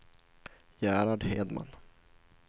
Gerhard Hedman